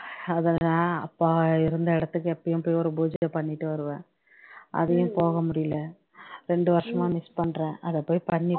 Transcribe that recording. அதுதான் அப்பா இருந்த இடத்துக்கு எப்பயும் போய் ஒரு பூஜையை பண்ணீட்டு வருவேன் அதுவும் போக முடியல ரெண்டு வருஷமா miss பண்றேன் அத போய் பண்ணீ